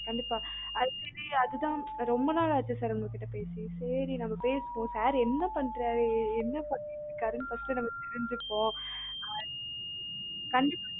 கண்டிப்பா actually அது தான் ரொம்ப நாள் ஆசை sir உங்ககிட்ட பேசணுன்னு சேரி நம்ம பேசுவோம் sir என்ன பண்றாரு என்ன பண்ணிட்டு இருக்காருன்னு first நம்ம தெரிஞ்சிப்போம் ஆஹ் கண்டிப்பா